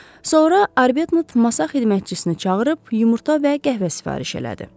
Sonra Arbetnot masa xidmətçisini çağırıb yumurta və qəhvə sifariş elədi.